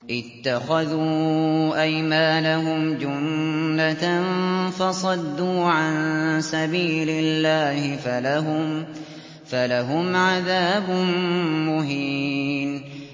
اتَّخَذُوا أَيْمَانَهُمْ جُنَّةً فَصَدُّوا عَن سَبِيلِ اللَّهِ فَلَهُمْ عَذَابٌ مُّهِينٌ